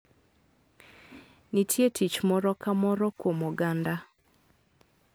Nitie tich moro ka moro kuom oganda.